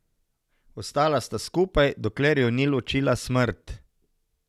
Ostala sta skupaj, dokler ju ni ločila smrt.